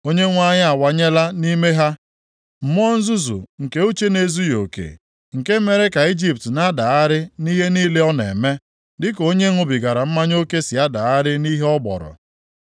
Onyenwe anyị awụnyela nʼime ha mmụọ nzuzu nke uche na-ezughị oke; nke mere ka Ijipt na-adagharị nʼihe niile ọ na-eme dịka onye ṅụbigara mmanya oke si adagharị nʼihe ọ gbọrọ.